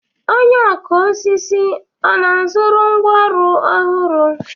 Onye ọkụ osisi ọ na-azụrụ ngwá ọrụ ọhụrụ?